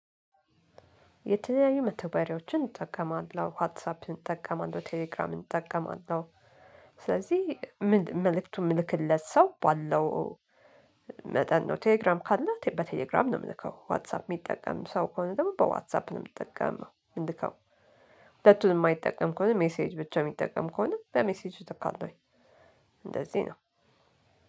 የተለያዩ መተግበሪያዎችን እጠቀማለሁ። ዋትሳፕን እጠቀማለሁ፤ ቴሌግራምን እጠቀማለሁ። መልዕክቱን የምልክለት ሰው ባለው መጠን ነው። ቴሌግራም ካለህ በቴሌግራም ነው የምልከው፤ ዋትሳፕ የሚጠቀም ሰው ከሆነ ደግሞ በዋትሳፕ ነው የምትጠቀመው የምልከው። ሁለቱንም የማይጠቀም ከሆነ ሜሴጅ ብቻ የሚጠቀም ከሆነ በሜሴጅ እልካለውኝ እንደዚህ ነው።